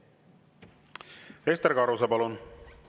Ester Karuse, palun!